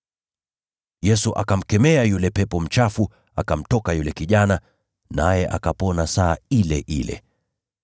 Yesu akamkemea yule pepo mchafu, akamtoka yule kijana, naye akapona saa ile ile.